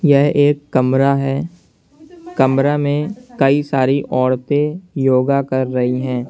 यह एक कमरा है कमरा में कई सारी औरतें योगा कर रही हैं।